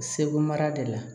Segu mara de la